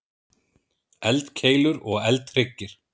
Eldkeilur og eldhryggir.